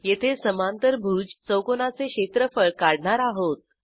येथे समांतरभुज चौकोनाचे क्षेत्रफळ काढणार आहोत